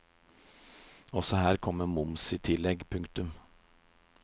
Også her kommer moms i tillegg. punktum